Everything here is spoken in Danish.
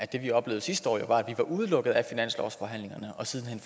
det vi oplevede sidste år jo var at vi var udelukket fra finanslovsforhandlingerne og siden hen